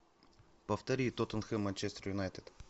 повтори тоттенхэм манчестер юнайтед